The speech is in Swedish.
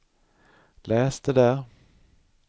läs det där